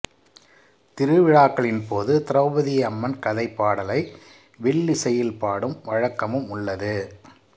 திருவிழாக்களின் போது திரௌபதியம்மன் கதைபாடலை வில்லிசையில் பாடும் வழக்கமும் உள்ளது